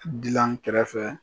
Dilan kɛrɛfɛ